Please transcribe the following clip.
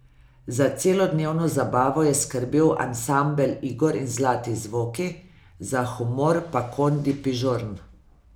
Za celodnevno zabavo je skrbel ansambel Igor in Zlati zvoki, za humor pa Kondi Pižorn.